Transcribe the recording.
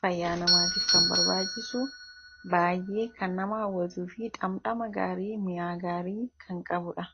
fayyaa namaatiif kan barbaachisu baay'ee kan nama hawwatuu fi dhamdhama gaarii mi'aa gaarii kan qabudha.